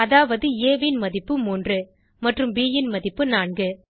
அதாவது ஆ ன் மதிப்பு 3 மற்றும் ப் ன் மதிப்பு 4